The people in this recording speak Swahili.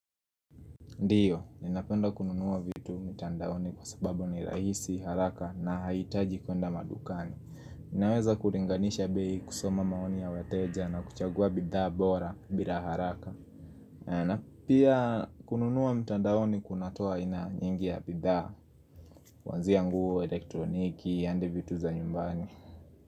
Ndiyo, ninapenda kununuwa vitu mitandaoni kwa sababu ni rahisi, haraka na hahitaji kuenda madukani Ninaweza kuringanisha bei kusoma maoni ya weteja na kuchagua bidhaa bora bila haraka na pia kununuwa mitandaoni kunatoa aina nyingi ya bidhaa kuanzia nguo, elektroniki, handi vitu za nyumbani.